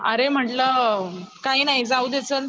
अरे म्हंटल काही नाही जाऊदे चल